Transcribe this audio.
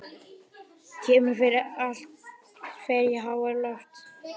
Kemur fyrir að allt fer í háaloft.